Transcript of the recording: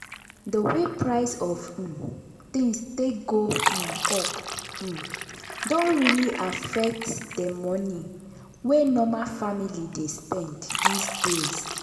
de way price of um things take go um up um don really affect de money wey normal family dey spend this days.